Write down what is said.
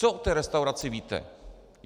Co o té restauraci víte?